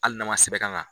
Hali n'a ma sɛbɛn ka kan